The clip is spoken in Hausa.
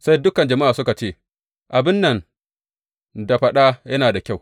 Sai dukan jama’a suka ce, Abin nan da faɗa yana da kyau.